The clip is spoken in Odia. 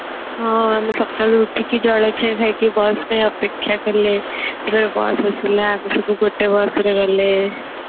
ହଁ ଆମେ ସକାଳୁ ଉଠିକି ଜଳଖିଆ ଖାଇକି bus ରେ ଅପେକ୍ଷା କଲେ ତାପରେ bus ଆସିଲା ଆମେ ସବୁ ଗୋଟେ bus ରେ ଗଲେ